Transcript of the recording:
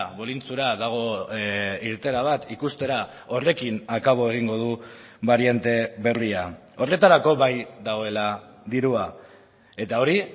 bolintxura dago irteera bat ikustera horrekin akabo egingo du bariante berria horretarako bai dagoela dirua eta hori